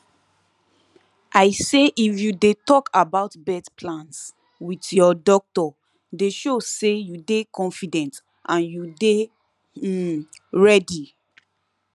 i say if you de talk about birth plans with ur doctor de show say u de confident and u de um ready